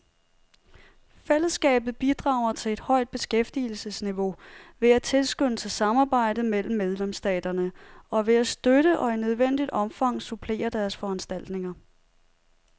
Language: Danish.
Fællesskabet bidrager til et højt beskæftigelsesniveau ved at tilskynde til samarbejde mellem medlemsstaterne og ved at støtte og i nødvendigt omfang supplere deres foranstaltninger.